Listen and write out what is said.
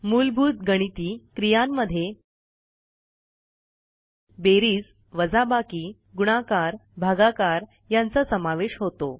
मूलभूत गणिती क्रियांमध्ये बेरीज वजाबाकी गुणाकार भागाकार यांचा समावेश होतो